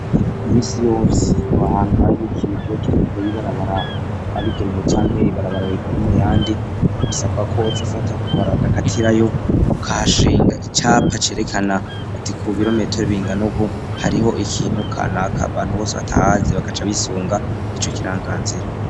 Imisi yose bahantu hari nk'ikine kiho trikure y'ibarabara yabigenewe cyange ibarabara rikuru mu yandi bisabwa ko c fata kukabara kakatira yo ukashinga icyapa cerekana ati ku birometero binganubu hariho ikintu kanaka bantu bose batahazi bakaca bisunga ico kiranganzira.